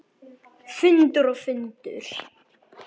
Fundur og fundur.